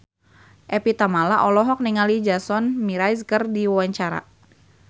Evie Tamala olohok ningali Jason Mraz keur diwawancara